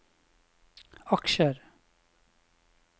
aksjer